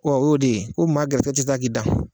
o y'o de ye ko maa garizigɛ ti taa k'i dan